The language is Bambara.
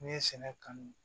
N'i ye sɛnɛ kanu